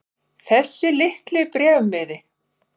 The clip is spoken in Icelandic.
Þessi litli bréfmiði.